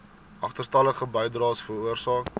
agterstallige bydraes veroorsaak